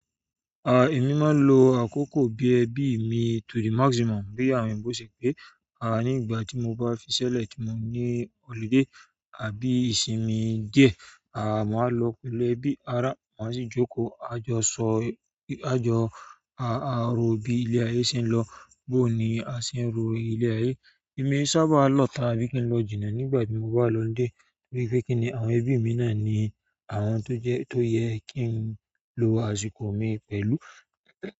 Ah, èmi máa ń lo àkókò bí ẹbí mi to the maximum, bí àwọn òyinbo ṣẹ́ pé, ah nígbà tí mo bá fiṣẹ́ lẹ̀ tí mo ní ọludé àbí ìsinmi diẹ, ah maa lọwọ pẹ̀lú ẹbi, ara a si joko a jọ sọ, a jọ ro bi ile aye se n lo, booni a se n lo ile aye. Èmi e sábà lọ́ta bí kí n lọ jìnnà nígbà tí mo bá lo holiday torí pé kí ni àwọn ẹbí mi náà ni àwọn tó jẹ́ tó yẹ kí n lo àsìkò mi pẹ̀lú.